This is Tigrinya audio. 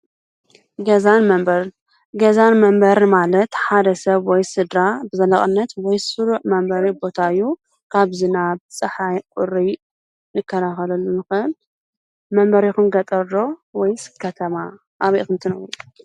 ገዛን መንበርን ገዛን መንበርን ማለት ሓደ ሰብ ወይ ስድራ ብዘላቅነት ስሩዕ መንበሪ ቦታ እዩ፡፡ ካብ ዝናብ ቁሪ ክንከላከለሉ ንክእል፡፡ መንበሪኩም ገጠር ዶስ ከተማ ኣበይ ኢኩም ትነብሩ?